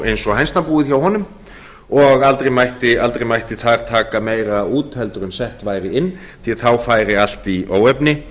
eins og hænsnabúið hjá honum og aldrei mætti þar taka meira út en sett væri inn því að þá færi allt í óefni